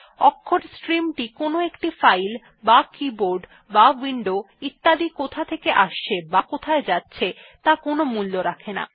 অক্ষরের স্ট্রিম টি কোনো একটি ফাইল বা কীবোর্ড বা উইন্ডো ইত্যাদি কোথা থেকে আসছে বা কোথায় যাচ্ছে ত়া কোনো মূল্য রাখে না